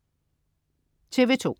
TV2: